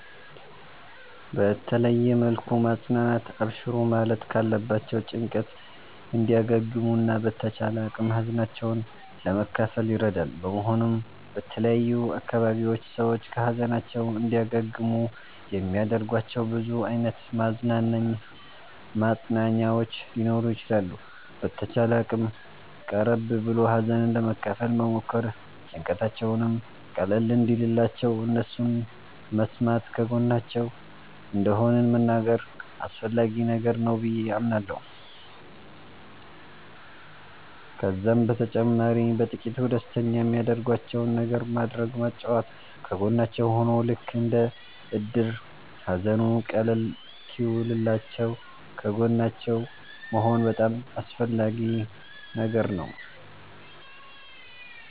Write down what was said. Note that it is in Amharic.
በተለየ መልኩ ማፅናናት አብሽሩ ማለት ካለባቸዉ ጭንቀት እንዲያገግሙ እና በተቻለ አቅም ሀዘናቸዉን ለመካፈል ይረዳል በመሆኑም በተለያዩ አካባቢዎች ሰዎች ከ ሀዘናቸዉ እንዲያገግሙ የሚያደርጋቸዉ ብዙ አይነት ማፅናኛዎች ሊኖሩ ይችላሉ። በተቻለ አቅም ቀረብ ብሎ ሀዘንን ለመካፈል መሞከር ጭንቀታቸዉም ቀለል እንዲልላቸዉ እነሱን መስማተ ከጎናቸዉ እንደሆንን መንገር አስፈላጊ ነገር ነዉ በዬ አምናለሁ። ከዛም በተጨማሪ በጥቂቱ ደስተኛ የሚያደርጋቸዉን ነገር ማድረግ ማጫወት ከጎናቸዉ ሁኖ ልክ እንደ እድር ሃዘኑ ቀለል እሰወኪልላችዉ ከጎናቸዉ መሆን በጣም አስፈላጊ ነገር ነዉ